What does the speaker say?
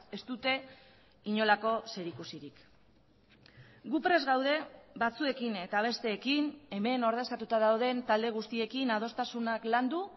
ez dute inolako zerikusirik gu prest gaude batzuekin eta besteekin hemen ordezkatuta dauden talde guztiekin adostasunak landu